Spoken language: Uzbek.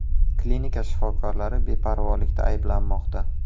Klinika shifokorlari beparvolikda ayblanmoqda.